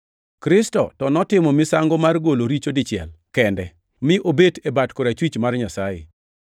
Kristo to notimo misango mar golo richo dichiel kende, mi obet piny e bat korachwich mar Nyasaye.